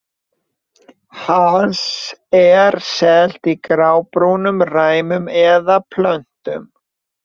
Hass er selt í grábrúnum ræmum eða plötum.